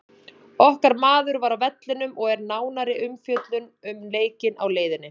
Okkar maður var á vellinum og er nánari umfjöllun um leikinn á leiðinni.